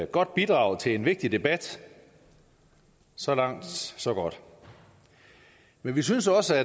godt bidrag til en vigtig debat så langt så godt men vi synes også